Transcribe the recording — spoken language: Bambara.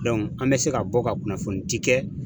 an bɛ se ka bɔ ka kunnafonidi kɛ